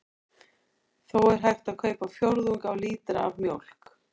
Þó er hægt að kaupa fjórðung af lítra af mjólk.